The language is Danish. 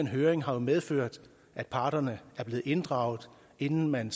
høringen har medført at parterne er blevet inddraget inden man